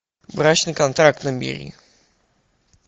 брачный контракт набери